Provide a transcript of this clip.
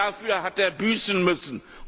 Und dafür hat er büßen müssen.